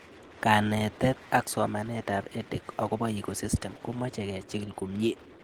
Kanetet ak somanet ab EdTech akopo Ecosystem komache kichig'ile komie